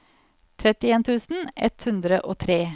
trettien tusen ett hundre og tre